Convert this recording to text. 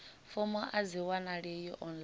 fomo a dzi wanalei online